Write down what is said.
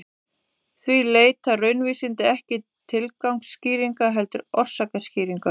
Því leita raunvísindin ekki tilgangsskýringa heldur orsakaskýringa.